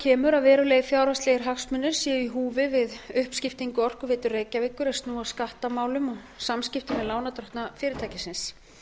kemur að verulegir fjárhagslegir hagsmunir séu í húfi við uppskiptingu orkuveitu reykjavíkur er snúa að skattamálum og samskiptum við lánardrottna fyrirtækisins